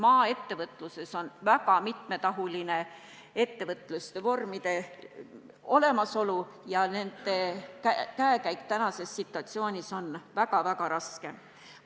Maaettevõtluses on väga mitmekesised ettevõtlusvormid ja nendel ettevõtetel on praeguses situatsioonis väga-väga raske.